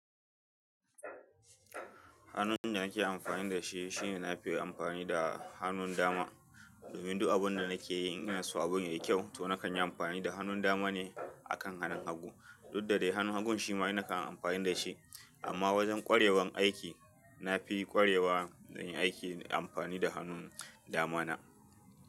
Hanun da nake amfani da shi shine na fi yi amfani da hannun dama. Domin duk abun da nakeyi ingana su abun yayi kyau to nakan yi amfani da hannun dama ne akan hannun hagu. Dudda dai hannun hagu shi ma ina kan amfani da shi. Amma wajen kwarewan aiki na fi kwarewa na yi aiki amfani da hannun dama na.